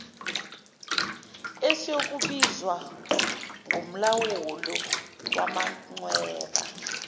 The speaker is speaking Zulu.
esiyokubizwa ngomlawuli wamachweba